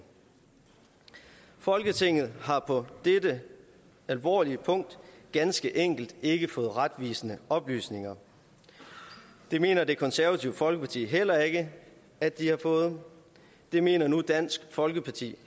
folketinget har på dette alvorlige punkt ganske enkelt ikke fået retvisende oplysninger det mener det konservative folkeparti heller ikke at de har fået det mener dansk folkeparti